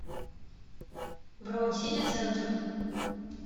бронь сити центр